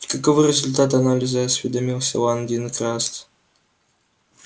и каковы результаты анализа осведомился лан дин краст